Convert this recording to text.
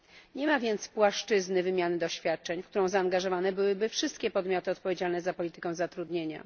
Nie ma więc płaszczyzny wymiany doświadczeń, w którą zaangażowane byłyby wszystkie podmioty odpowiedzialne za politykę zatrudnienia.